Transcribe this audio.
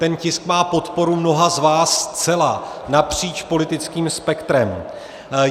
Ten tisk má podporu mnoha z vás zcela napříč politickým spektrem.